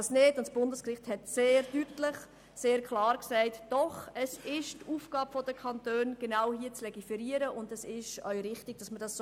Das Bundesgericht entschied jedoch klar, es sei die Aufgabe der Kantone, in diesem Bereich zu legiferieren, und es sei auch richtig, dass sie dies täten.